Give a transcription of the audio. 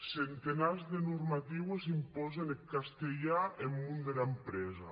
centenats de normatiues impòsen eth castelhan en mon dera enterpresa